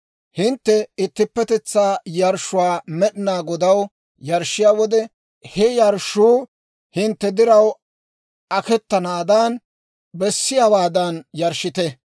« ‹Hintte ittippetetsaa yarshshuwaa Med'inaa Godaw yarshshiyaa wode, he yarshshuu hintte diraw aketanaadan, bessiyaawaadan yarshshite.